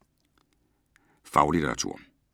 Faglitteratur